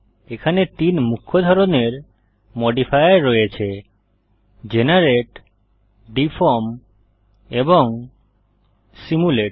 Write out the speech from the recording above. এখানে তিনটি মুখ্য ধরনের মডিফায়ার রয়েছে জেনারেট ডিফর্ম এবং সিমুলেট